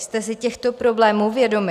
Jste si těchto problémů vědomi?